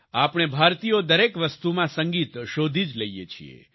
આપણે ભારતીયો દરેક વસ્તુમાં સંગીત શોધી જ લઈએ છીએ